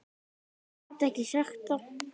Gat ekki sagt það.